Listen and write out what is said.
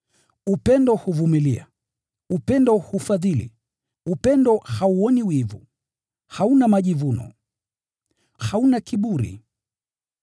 Upendo huvumilia, upendo hufadhili, upendo hauoni wivu, hauna majivuno, hauna kiburi.